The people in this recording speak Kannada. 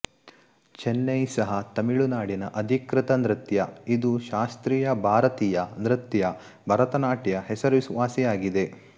ಚೆನೈ ಸಹ ತಮಿಳುನಾಡಿನ ಅಧಿಕೃತ ನೃತ್ಯ ಇದು ಶಾಸ್ತ್ರೀಯ ಭಾರತೀಯ ನೃತ್ಯ ಭರತನಾಟ್ಯ ಹೆಸರುವಾಸಿಯಾಗಿದೆ